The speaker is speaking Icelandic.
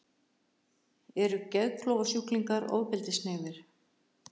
Eru geðklofasjúklingar ofbeldishneigðir?